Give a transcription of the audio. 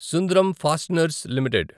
Sundram fasteners limited